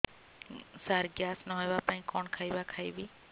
ସାର gas ନ ହେବା ପାଇଁ କଣ ଖାଇବା ଖାଇବି